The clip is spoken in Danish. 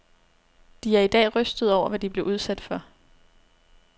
De er i dag rystede over, hvad de blev udsat for.